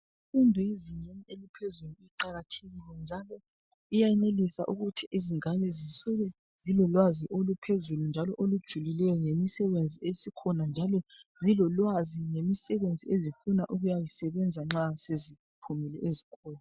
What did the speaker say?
Imfundo yezinga eliphezulu iqakathekile njalo iyayenelisa ukuthi izingane sisuke silo lwazi oluphezulu njalo olujulileyo ngemisebenzi esikhona njalo zilo lwazi ngemisebenzi ezifuna ukuyawusebenza nxa seziphumile ezikolo.